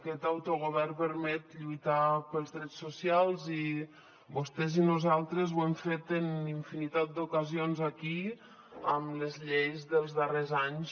aquest autogovern permet lluitar pels drets socials i vostès i nosaltres ho hem fet en infinitat d’ocasions aquí amb les lleis dels darrers anys